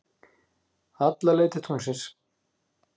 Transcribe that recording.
Alla leið til tunglsins.